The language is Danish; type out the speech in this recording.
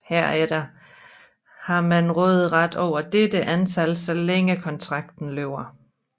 Herefter har man råderet over dette antal så længe kontrakten løber